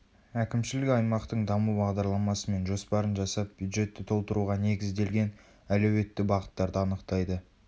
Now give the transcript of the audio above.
әкімшілік аймақтың даму бағдарламасы мен жоспарын жасап бюджетті толтыруға негізделген әлеуетті бағыттарды анықтайды